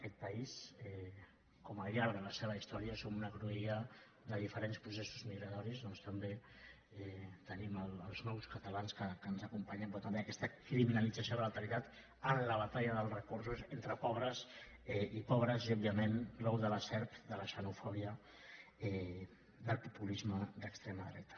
aquest país com al llarg de la seva història som una cruïlla de diferents processos migratoris doncs també tenim els nous catalans que ens acompanyen però també aquesta criminalització de l’alteritat en la batalla dels recursos entre pobres i òbviament l’ou de la serp de la xenofòbia del populisme d’extrema dreta